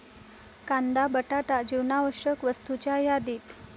कांदा, बटाटा जीवनावश्यक वस्तूंच्या यादीत